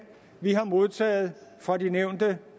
vi har modtaget fra de nævnte